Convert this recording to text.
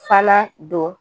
Fana don